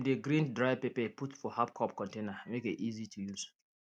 dem dey grind dry pepper put for half cup container make e easy to use